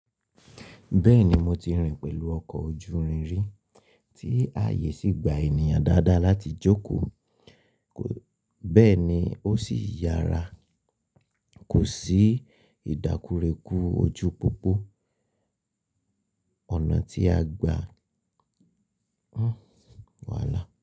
Bẹ́ẹ̀ni mo ti rìn pẹ̀lú ọkọ̀ ojú irin rí, tí ààyè sì gba ènìyàn dáadáa láti jókòó, bẹ́ẹ̀ ni ó sì yára. Kò sí ìdákurekú ojú pópó ọ̀nà tí a gbà. Wàhálà.